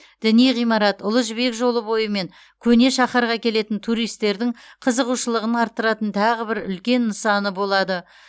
діни ғимарат ұлы жібек жолы бойы мен көне шаһарға келетін туристердің қызығушылығын арттыратын тағы бір үлкен нысаны болады